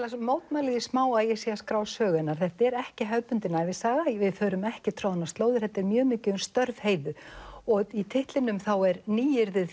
mótmæli því smá að ég sé að skrá sögu hennar þetta er ekki hefðbundin ævisaga við förum ekki troðnar slóðir þetta er mjög mikið um störf Heiðu og í titlinum er nýyrðið